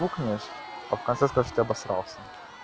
пукнешь а в конце скажешь что ты обосрался